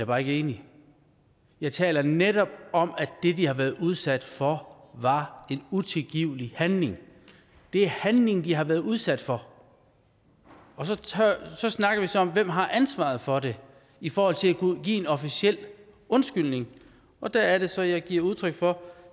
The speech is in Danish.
bare ikke enig jeg taler netop om at det de har været udsat for var en utilgivelig handling det er handlingen de har været udsat for og så snakker vi så om hvem der har ansvaret for det i forhold til at kunne give en officiel undskyldning og der er det så jeg giver udtryk for at